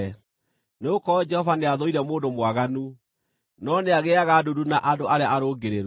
nĩgũkorwo Jehova nĩathũire mũndũ mwaganu, no nĩagĩĩaga ndundu na andũ arĩa arũngĩrĩru.